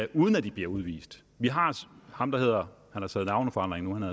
uden at de bliver udvist vi har ham der hedder han har taget navneforandring nu